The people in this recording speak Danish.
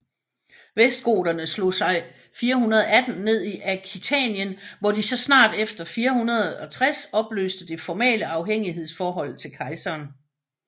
Vestgoterne slog sig 418 ned i Aquitanien hvor de så snart efter 460 opløste det formale afhængighedsforhold til kejseren